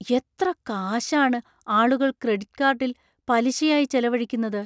എത്ര കാശാണ് ആളുകൾ ക്രെഡിറ്റ് കാർഡിൽ പലിശയായി ചെലവഴിക്കുന്നത്?